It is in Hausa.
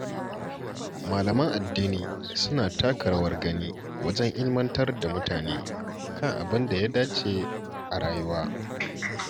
Malaman addini suna taka rawar gani wajen ilimantar da mutane kan abin da ya dace a rayuwa.